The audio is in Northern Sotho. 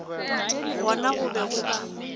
gona go be go ka